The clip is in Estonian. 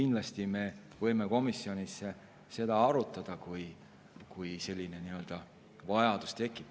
Aga me võime komisjonis seda kindlasti arutada, kui selline vajadus tekib.